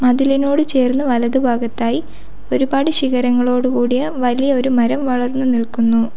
മതിലിനോട് ചേർന്ന് വലതു ഭാഗത്തായി ഒരുപാട് ശിഖരങ്ങളോടുകൂടിയ വലിയൊരു മരം വളർന്നു നിൽക്കുന്നു.